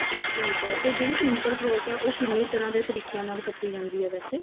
ਠੀਕ ਐ ਤੇ ਜਿਹੜੀ simple frock ਐ ਉਹ ਕਿੰਨੇ ਤਰ੍ਹਾਂ ਦੇ ਤਰੀਕਿਆਂ ਨਾਲ ਕੱਟੀ ਜਾਂਦੀ ਐ ਵੈਸੇ